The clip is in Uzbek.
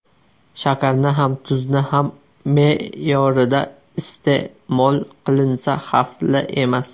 Shakarni ham, tuzni ham me’yorida iste’mol qilinsa xavfli emas.